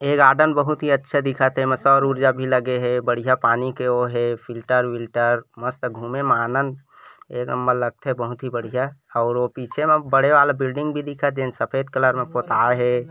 ए garden बहुत ही अच्छा दिखत हे एमा सौर ऊर्जा भी लगे हे बढ़िया पानी के ओ हे फ़िल्टर विलटर मस्त घूमे मा आनंद एक नंबर लग थेबहुत बढ़िया और ओ पीछे म बड़े वाला बिल्डिंग भी दिखत जेन सफ़ेद कलर में पोताए हे।